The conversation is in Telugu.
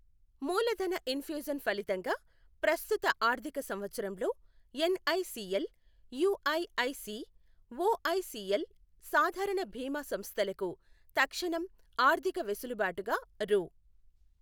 మూలధన ఇన్ఫ్యూజన్ ఫలితంగా ప్రస్తుత ఆర్థిక సంవత్సరంలో ఎన్ఐసీఎల్, యూఐఐసీ, ఓఐసీఎల్ సాధారణ బీమా సంస్థలకు తక్షణం ఆర్థిక వెసులుబాటుగా రూ.